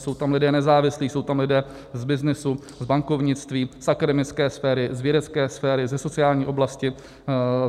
Jsou tam lidé nezávislí, jsou tam lidé z byznysu, z bankovnictví, z akademické sféry, z vědecké sféry, ze sociální oblasti.